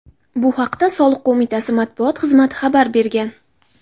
Bu haqda Soliq qo‘mitasi matbuot xizmati xabar bergan .